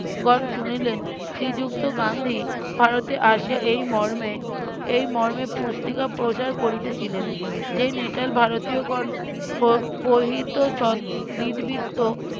গণ শুনিলেন শ্রীযুক্ত গান্ধী ভারতে আসে এই মর্মে এই মর্মে পুস্তিকা প্রচার করিতেছিলেন যে নেটাল ভারতীয়গন হৃদবৃত্ত